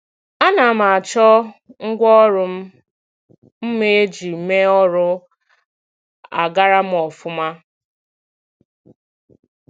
A na m achọ ngwa ọrụ m mma iji mee ọrụ a gara m ofuma